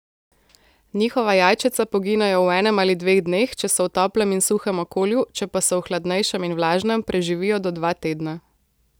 Njihova jajčeca poginejo v enem ali dveh dneh, če so v toplem in suhem okolju, če pa so v hladnejšem in vlažnem, preživijo do dva tedna.